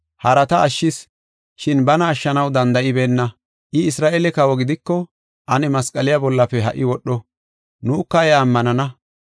“Harata ashshis, shin bana ashshanaw danda7ibeenna. I Isra7eele kawo gidiko, ane masqaliya bollafe ha77i wodho, nuka iya ammanana.